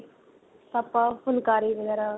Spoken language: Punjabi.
ਆਪਾਂ ਫੁਲਕਾਰੀ ਵਗੈਰਾ